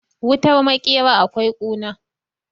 wutar makera akwai kuna